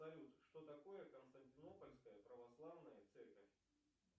салют что такое константинопольская православная церковь